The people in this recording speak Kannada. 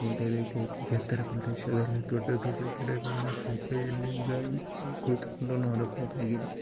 ಅದೇ ರೀತಿ ಎತ್ತರ ಪ್ರದೇಶದಲ್ಲಿ ದೊಡ್ಡ ದೊಡ್ಡ ಗಿಡಗಳು ಸಹಿತ ಇಲ್ಲಿಂದ ಕುಳಿತುಕೊಂಡು ನೋಡಬಹುದುದಾಗಿದೆ.